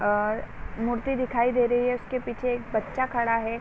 और मूर्ति दिखाई दे रही है। उसके पीछे एक बच्चा खड़ा है।